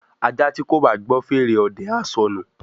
ajá tí kò bá gbọ́ fèrè ọdẹ á sọnù